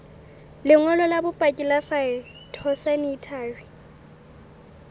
lengolo la bopaki la phytosanitary